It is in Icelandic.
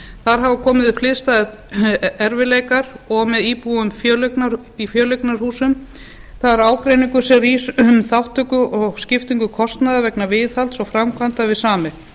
þar hafa komið upp hliðstæðir erfiðleikar og með íbúum í fjöleignarhúsum það er ágreiningur sem rís um þátttöku og skiptingu kostnaðar og viðhalds vegna framkvæmda við sameign